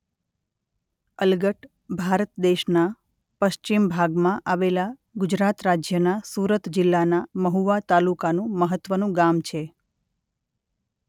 અલગટ ભારત દેશના પશ્ચિમ ભાગમાં આવેલા ગુજરાત રાજ્યના સુરત જિલ્લાના મહુવા તાલુકાનું મહત્વનું ગામ છે.